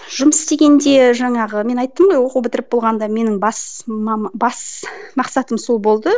жұмыс істегенде жаңағы мен айттым ғой оқу бітіріп болғанда менің бас бас мақсатым сол болды